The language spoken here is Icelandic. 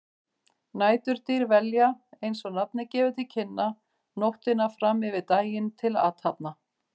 Næturdýr velja, eins og nafnið gefur til kynna, nóttina fram yfir daginn til athafna.